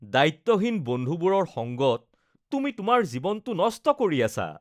দায়িত্বহীন বন্ধুবোৰৰ সংগত তুমি তোমাৰ জীৱনটো নষ্ট কৰি আছা